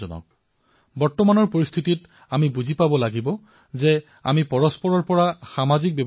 আমি এয়া বুজিব লাগিব যে বৰ্তমানৰ পৰিস্থিতিত আমি কেৱল সামাজিক ব্যৱধান পালন কৰিব লাগিব আবেগিক অথবা মানসিক ব্যৱধান নহয়